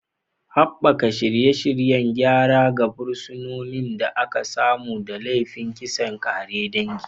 Haɓaka shirye-shiryen gyara ga fursunonin da aka samu da laifin kisan ƙare dangi.